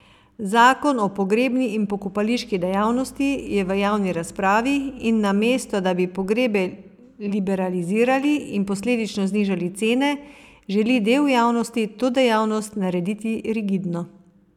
Zakon o pogrebni in pokopališki dejavnosti je v javni razpravi, in namesto da bi pogrebe liberalizirali in posledično znižali cene, želi del javnosti to dejavnost narediti rigidno.